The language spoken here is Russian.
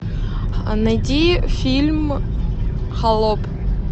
найди фильм холоп